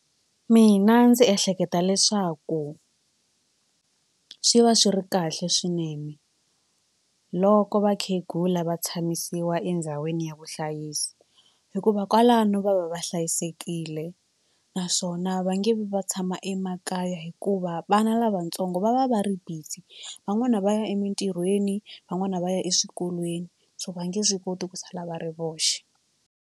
Mina ndzi ehleketa leswaku swi va swi ri kahle swinene loko vakhegula va tshamisiwa endhawini ya vuhlayisi hikuva kwalano va va va hlayisekile naswona va nge vi va tshama emakaya hikuva vana lavatsongo va va va ri busy van'wani va ya emitirhweni van'wani va ya eswikolweni so va nge swi koti ku sala va ri voxe.